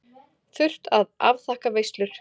Þurft að afþakka veislur.